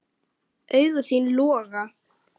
Augu þín loga.